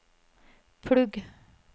plugg